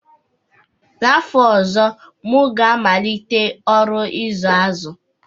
N'fọ ọzọ, m ga-amalite ọrụ ịzụ azụ